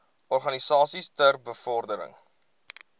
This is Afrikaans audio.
organisasies ter bevordering